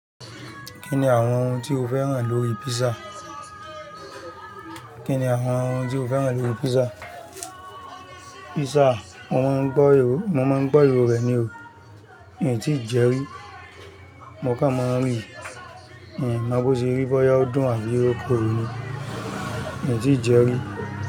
Kí ni àwọn ohun tí o fẹ́ràn lórí pizza pizza. Mo máa ń gbọ́ ìró rẹ̀ ni o. Miì tíì jẹẹ́ rí. Mo kàn máa ń ríi, miì mọ bó ṣe rí, bóyá ó dùn àbí ó korò ni. Mi ò tíì jẹẹ́ rí.